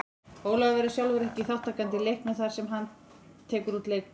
Ólafur verður sjálfur ekki þátttakandi í leiknum þar sem hann tekur út leikbann.